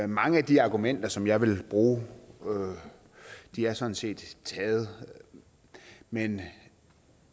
mange af de argumenter som jeg vil bruge er sådan set taget men